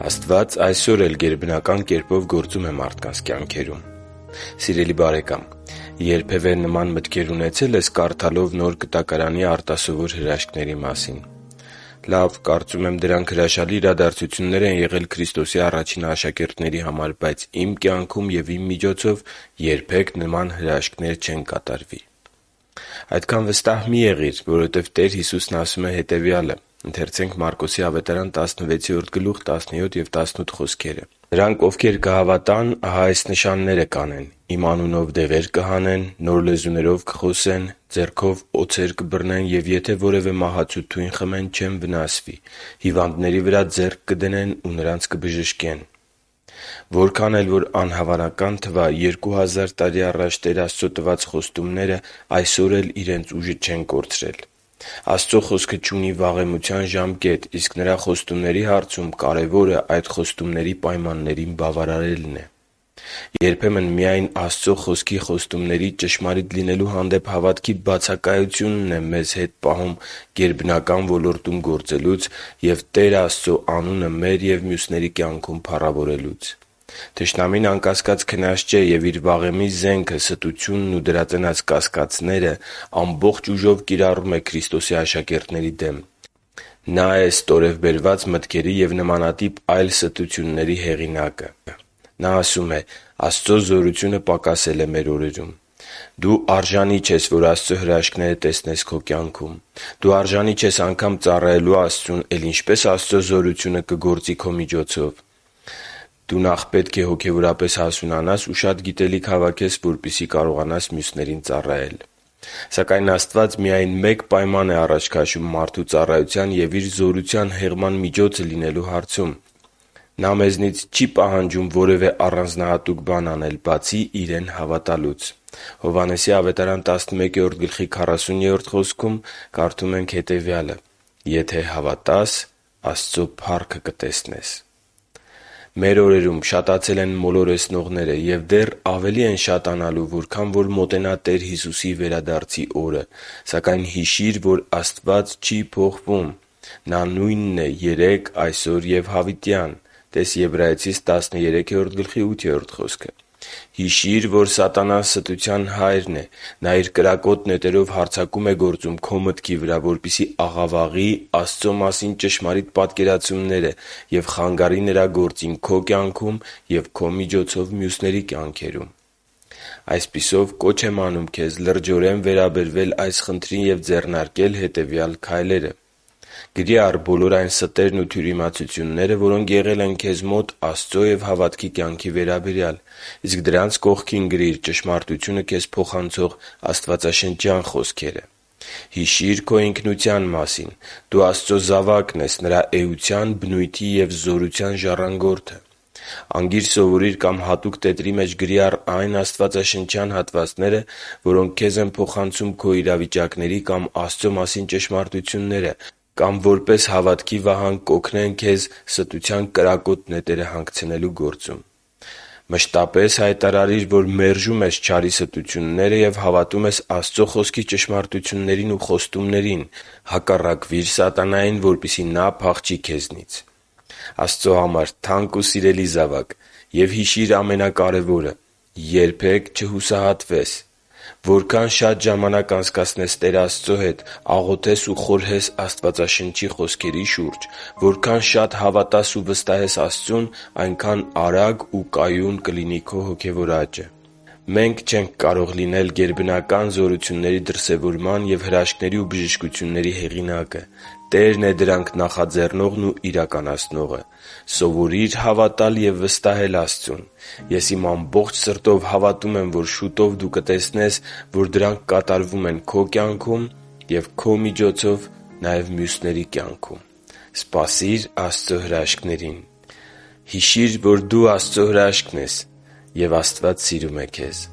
Աստված այսօր էլ գերբնական կերպով գործում է մարդկանց կյանքերում Սիրելի՛ բարեկամ, երբևէ նման մտքեր ունեցե՞լ ես՝ կարդալով Նոր Կտակարանի արտասովոր հրաշքների մասին. «Լավ, կարծում եմ դրանք հրաշալի իրադարձություններ են եղել Քրիստոսի առաջին աշակերտների համար, բայց իմ կյանքում և իմ միջոցով երբեք նման հրաշքներ չեն կատարվի»։ Այդքան վստահ մի՛ եղիր, որովհետև Տեր Հիսուսն ասում է. «Նրանք, ովքեր կհավատան, ահա այս նշանները կանեն. Իմ անունով դևեր կհանեն, նոր լեզուներով կխոսեն, ձեռքով օձեր կբռնեն ու եթե որևէ մահացու թույն խմեն, չեն վնասվի. հիվանդների վրա ձեռք կդնեն ու նրանց կբժշկեն»։ (Տես՛ Մարկոս 16․17-18 խոսքը)։ Որքան էլ, որ անհավանական թվա, երկու հազար տարի առաջ Տեր Աստծո տված խոստումները այսօր էլ իրենց ուժը չեն կորցրել։ Աստծո Խոսքը չունի վաղեմության ժամկետ, իսկ Նրա խոստումների հարցում կարևորը այդ խոստումների պայմաններին բավարարելն է։ Երբեմն միայն Աստծո Խոսքի խոստումների ճշմարիտ լինելու հանդեպ հավատքի բացակայությունն է մեզ հետ պահում գերբնական ոլորտում գործելուց և Տեր Աստծո անունը մեր և մյուսների կյանքում փառավորելուց։ Թշնամին, անկասկած, քնած չէ և իր վաղեմի զենքը՝ ստությունն ու դրա ծնած կասկածները, ամբողջ ուժով կիրառում է Քրիստոսի աշակերտների դեմ։ Նա է ստորև բերված մտքերի և նմանատիպ այլ ստությունների հեղինակը․ «Աստծո զորությունը պակասել է մեր օրերում»։ «Դու արժանի չես, որ Աստծո հրաշքները տեսնես քո կյանքում»։ «Դու արժանի չես անգամ ծառայելու Աստծուն, էլ ինչպե՞ս Աստծո զորությունը կգործի քո միջոցով»։ «Ես նախ պետք է հոգևորապես հասունանամ ու շատ գիտելիք հավաքեմ, որպեսզի կարողանամ մյուսներին ծառայել»։ Սակայն, Աստված միայն մեկ պայման է առաջ քաշում մարդու ծառայության և Իր զորության հեղման միջոցը լինելու հարցում։ Նա մեզնից չի պահանջում որեւէ առանձնահատուկ բան անել, բացի Իրեն հավատալուց։ Հովհաննես 11․40 խոսքում կարդում ենք. «…եթե հավատաս, Աստծու փառքը կտեսնես»։ Մեր օրերում շատացել են մոլորեցնողները և դեռ ավելի են շատանալու, որքան որ մոտենա Տեր Հիսուսի վերադարձի օրը։ Սակայն հիշի՛ր, որ Աստված չի փոխվել։ Նա նույնն է երեկ, այսօր ու հավիտյան։ (Տես՛ Եբրայեցիս 13․8 խոսքը)։ Հիշի՛ր, որ սատանան ստության հայրն է։ Նա իր կրակոտ նետերով հարձակում է գործում քո մտքի վրա, որպեսզի աղավաղի Աստծո մասին ճշմարիտ պատկերացումները և խանգարի Նրա գործին քո կյանքում և քո միջոցով՝ մյուսների կյանքերում։ Այսպիսով, կոչ եմ անում քեզ լրջորեն վերաբերվել այս խնդրին և ձեռնարկել հետևյալ քայլերը․. Գրի՛ առ բոլոր այն ստերն ու թյուրիմացությունները, որոնք եղել են քեզ մոտ Աստծո և հավատքի կյանքի վերաբերյալ, իսկ դրանց կողքին գրիր ճշմարտությունը քեզ փոխանցող աստվածաշնչյան խոսքերը։ Հիշի՛ր քո ինքնության մասին։ Դու Աստծո զավակն ես, Նրա էության, բնույթի և զորության ժառանգորդը։ Անգիր սովորի՛ր կամ հատուկ տետրի մեջ գրի՛ առ այն աստվածաշնչյան հատվածները, որոնք քեզ են փոխանցում քո իրավիճակների կամ Աստծո մասին ճշմարտությունները կամ որպես հավատքի վահան կօգնեն քեզ ստության նետերը հանգցնելու գործում։ Մշտապես հայտարարի՛ր, որ մերժում ես չարի ստությունները և հավատում ես Աստծո Խոսքի ճշմարտություններին և խոստումներին։ Հակառակվի՛ր սատանային, որպեսզի նա փախչի քեզնից։ Աստծո համար թանկ ու սիրելի՛ զավակ, և հիշի՛ր ամենակարևորը՝ երբե՛ք չհուսահատվես։ Որքան շատ ժամանակ անցկացնես Տեր Աստծո հետ, աղոթես ու խորհես Աստվածաշնչի շուրջ, որքան շատ հավատաս ու վստահես Աստծուն, այնքան արագ ու կայուն կլինի քո հոգևոր աճը։ Մենք չենք կարող լինել գերբնական զորությունների դրսևորման և հրաշքների ու բժշկությունների հեղինակը։ Տերն է դրանք նախաձեռնողն ու իրականացնողը։ Սովորի՛ր հավատալ և վստահել Աստծուն։ Ես իմ ամբողջ սրտով հավատում եմ, որ շուտով, դու կտեսնես, որ դրանք կատարվում են քո կյանքում և քո միջոցով՝ մյուսների կյանքում։ Սպասի՛ր Աստծո հրաշքներին… Հիշի՛ր, որ դու Աստծո հրաշքն ես, և Աստված սիրում է քեզ։